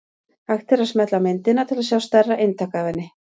Hægt er að smella á myndina til að sjá stærra eintak af henni.